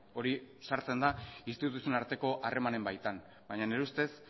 hori sartzen da instituzioen arteko harremanen baitan baina nire ustez